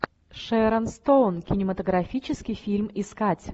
шэрон стоун кинематографический фильм искать